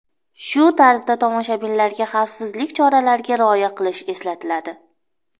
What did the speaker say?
Shu tarzda tomoshabinlarga xavfsizlik choralariga rioya qilish eslatiladi.